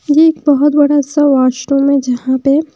ये एक बहुत बड़ा सा वाशरूम है जहाँ पे--